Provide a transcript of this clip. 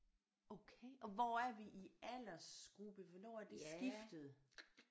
Okay og hvor er vi i aldersgruppe hvornår er det skiftet